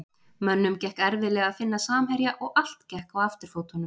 Mönnum gekk erfiðlega að finna samherja og allt gekk á afturfótunum.